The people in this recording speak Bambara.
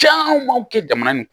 Caman b'aw kɛ jamana nin